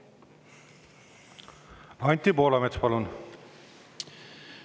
Anti Poolamets, palun!